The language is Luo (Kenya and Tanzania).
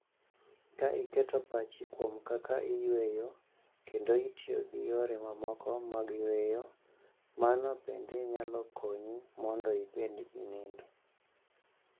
Ka iketo pachni kuom kaka iyueyo kendo itiyo gi yore mamoko mag yweyo, mano bende nyalo konyi mondo ibed gi nindo.